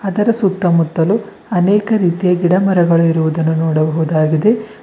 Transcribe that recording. ಅದರ ಸುತ್ತಮುತ್ತಲು ಅನೇಕ ರೀತಿಯ ಗಿಡಮರಗಳು ಇರುವುದನ್ನು ನೋಡಬಹುದಾಗಿದೆ.